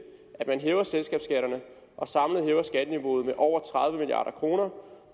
at man hæver selskabsskatterne og samlet hæver skatteniveauet med over tredive milliard kroner